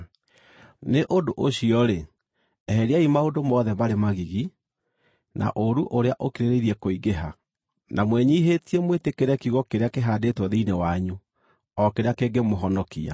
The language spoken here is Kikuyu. Nĩ ũndũ ũcio-rĩ, eheriai maũndũ mothe marĩ magigi, na ũũru ũrĩa ũkĩrĩrĩirie kũingĩha, na mwĩnyiihĩtie, mwĩtĩkĩre kiugo kĩrĩa kĩhaandĩtwo thĩinĩ wanyu, o kĩrĩa kĩngĩmũhonokia.